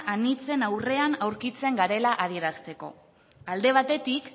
anitzen aurrean aurkitzen garela adierazteko alde batetik